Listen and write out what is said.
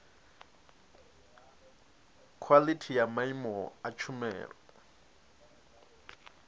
khwalithi ya maimo a tshumelo